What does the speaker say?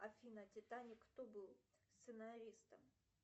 афина титаник кто был сценаристом